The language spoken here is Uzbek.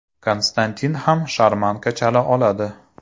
Konstantin ham sharmanka chala oladi.